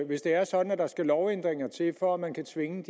hvis det er sådan at der skal lovændringer til for at man kan tvinge